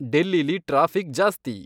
ಡೆಲ್ಲೀಲಿ traffic ಜಾಸ್ತಿ